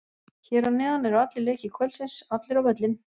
Hér að neðan eru allir leikir kvöldsins, allir á völlinn!